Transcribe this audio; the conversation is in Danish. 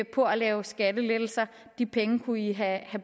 på at lave skattelettelser de penge kunne i have